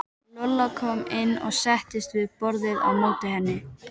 Lolla kom inn og settist við borðið á móti henni.